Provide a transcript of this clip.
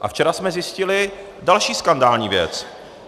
A včera jsme zjistili další skandální věc.